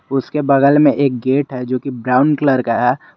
उसके बगल में एक गेट है जोकि ब्राउन कलर का--